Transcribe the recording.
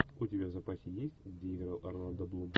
у тебя в запасе есть где играл орландо блум